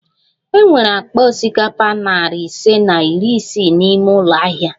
E nwere akpa osikapa nari ise na iri isii n'ime ụlọ ahịa